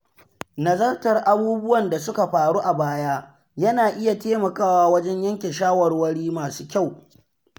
Nazartar abubuwan da suka faru a baya yana iya taimakawa wajen yanke shawarwari masu kyau.